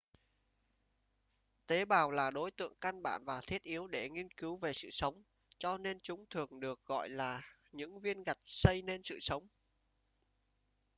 tế bào là đối tượng căn bản và thiết yếu để nghiên cứu về sự sống cho nên chúng thường được gọi là những viên gạch xây nên sự sống